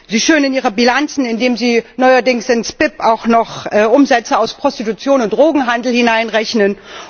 Sie schönen Ihre Bilanzen, indem Sie neuerdings ins BIP auch noch Umsätze aus Prostitution und Drogenhandel hineinrechnen.